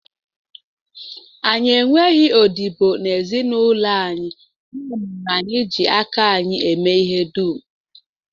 Anyị enweghị odibo n'ezinụlọ anyị, ya mere anyị ji aka anyị eme ihe dum